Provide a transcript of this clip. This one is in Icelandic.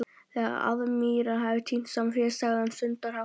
Þegar aðmírállinn hafði tínt saman féð sagði hann stundarhátt